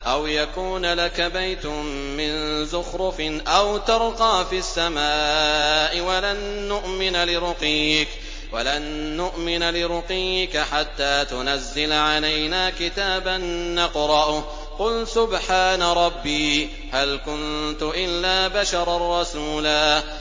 أَوْ يَكُونَ لَكَ بَيْتٌ مِّن زُخْرُفٍ أَوْ تَرْقَىٰ فِي السَّمَاءِ وَلَن نُّؤْمِنَ لِرُقِيِّكَ حَتَّىٰ تُنَزِّلَ عَلَيْنَا كِتَابًا نَّقْرَؤُهُ ۗ قُلْ سُبْحَانَ رَبِّي هَلْ كُنتُ إِلَّا بَشَرًا رَّسُولًا